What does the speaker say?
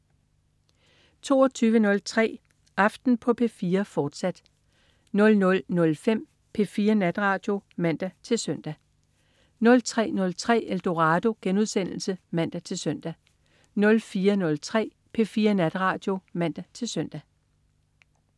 22.03 Aften på P4, fortsat 00.05 P4 Natradio (man-søn) 03.03 Eldorado* (man-søn) 04.03 P4 Natradio (man-søn)